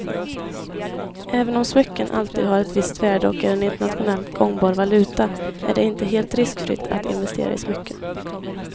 Även om smycken alltid har ett visst värde och är en internationellt gångbar valuta är det inte helt riskfritt att investera i smycken.